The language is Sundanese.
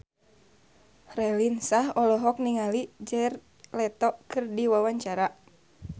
Raline Shah olohok ningali Jared Leto keur diwawancara